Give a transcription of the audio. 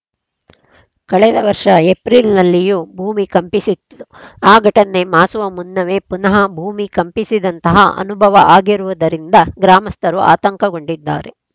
ಕಳೆದ ವರ್ಷದ ಏಪ್ರಿಲ್‌ನಲ್ಲಿಯೂ ಭೂಮಿ ಕಂಪಿಸಿತ್ತು ಆ ಘಟನೆ ಮಾಸುವ ಮುನ್ನವೇ ಪುನಃ ಭೂಮಿ ಕಂಪಿಸಿದಂಥಹ ಅನುಭವ ಆಗಿರುವುದರಿಂದ ಗ್ರಾಮಸ್ಥರು ಆತಂಕಗೊಂಡಿದ್ದಾರೆ